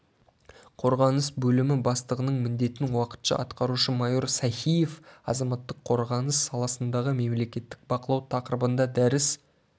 қорғаныс бөлімі бастығының міндетін уақытша атқарушы майор сахиев азаматтық қорғаныс саласындағы мемлекеттік бақылау тақырыбында дәріс